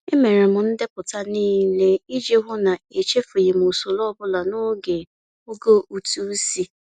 E mere m ndepụta nlele iji hụ na echefughị usoro ọbụla n'oge oge ụtụisi.